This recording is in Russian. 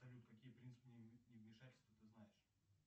салют какие принципы невмешательства ты знаешь